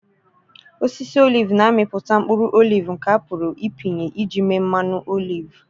Osisi oliv na-amịpụta mkpụrụ oliv nke a pụrụ ịpịnye iji mee mmanụ olive.